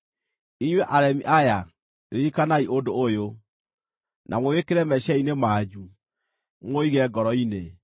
“Inyuĩ aremi aya, ririkanai ũndũ ũyũ, na mũwĩkĩre meciiria-inĩ manyu, mũũige ngoro-inĩ.